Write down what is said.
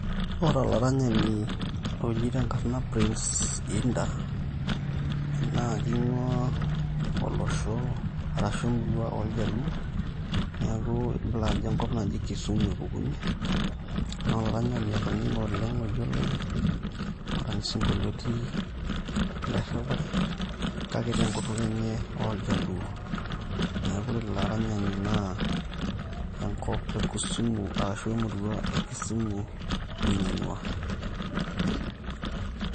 Ore olaranyani oji te enkarana Prince Indah naa king'uaa olosho arashu emurua oljaluo neeku ibala ajo enkop naji Kisumu epukunyie, naa olaranayani otoning'e oleng' oyioloi orany isinkolioti le errepare kake te enkutuk enye oljaluo neeku ore ilo aranyani naa enkop e Kisumu arashu emurua emurrua e Kisumu ninye ing'uaa.